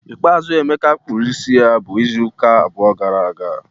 Ikpeazụ Emeka kpụrụ isi ya bụ izu ụka abụọ gara aga.